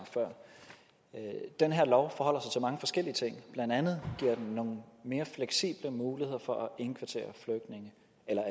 før den her lov forholder sig mange forskellige ting blandt andet giver den nogle mere fleksible muligheder for at indkvartere